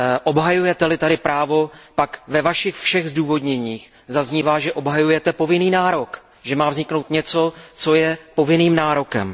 Obhajujete li tady právo, pak ve vašich všech zdůvodněních zaznívá, že obhajujete povinný nárok, že má vzniknout něco, co je povinným nárokem.